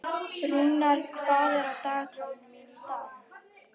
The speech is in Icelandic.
Rúnar, hvað er á dagatalinu mínu í dag?